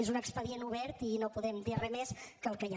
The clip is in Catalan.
és un expedient obert i no podem dir res més que el que hi ha